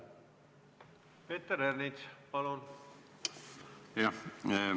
Peeter Ernits, palun!